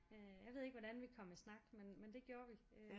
Øh jeg ved ikke hvordan vi kom i snak men det gjorde vi